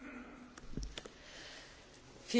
Frau Präsidentin, meine Damen und Herren!